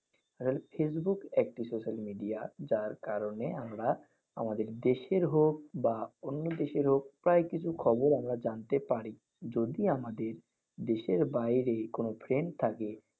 face book একটি social media যার কারণে আমরা আমাদের দেশের হোক বা অন্য দেশের হোক প্রায় কিছু খবর আমরা জানতে পারি। যদি আমাদের' দেশের 'বাইরে কোনও friend থাকে।